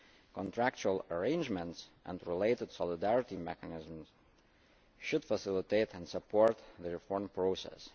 Contractual arrangements and related solidarity mechanisms should facilitate and support the reform process.